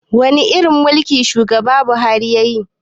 Wani irin mulki shugaba buhari yayi